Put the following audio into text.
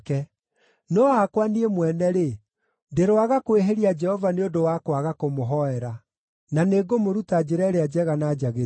No hakwa niĩ mwene-rĩ, ndĩroaga kwĩhĩria Jehova nĩ ũndũ wa kwaga kũmũhoera. Na nĩngũmũruta njĩra ĩrĩa njega na njagĩrĩru.